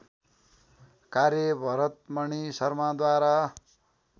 कार्य भरतमणी शर्माद्वारा